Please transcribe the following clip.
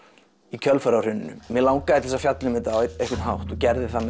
í kjölfarið á hruninu mig langaði til þess að fjalla um þetta á einhvern hátt og gerði það